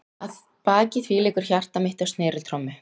Að baki því leikur hjarta mitt á sneriltrommu.